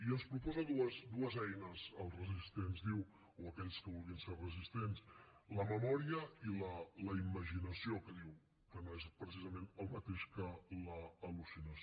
i ens proposa dues eines als resistents diu o a aquells que vulguin ser resistents la memòria i la imaginació que diu que no és precisament el mateix que l’al·lucinació